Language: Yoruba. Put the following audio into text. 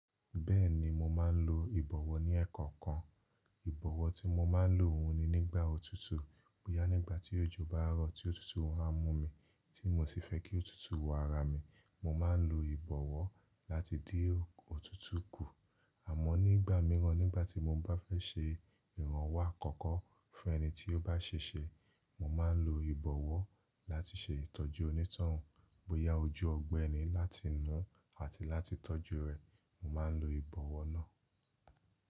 Bẹ́ẹ̀ni mo máa ń lo ìbọ̀wọ́ ní ẹẹkọkan. Ìbọ̀wọ́ tí mo máa ń lò òun ni nígbà òtútù, bóyá nígbà tí òjò bá rọ̀ tí òtútù wá mú mi, tí mi o sì fẹ́ kí òtútù wọ ara mi, mo máa ń lo ìbọ̀wọ́ láti dín òtútù kù. Àmọ́ nígbà mìíràn nígbà tí mo bá fẹ́ ṣe ìrànwọ́ àkọ́kọ́ fún ẹni tí ó bá ṣe ṣe, mo máa ń lo ìbọ̀wọ́ láti ṣe ìtọ́jú oní ìtàn. Bóyá ojú ọ̀gbẹ́ ni láti nu àti láti tọ́jú rẹ̀, mo máa ń lo ìbọ̀wọ́ náà.